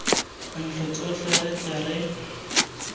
ntlo tsotlhe re tle re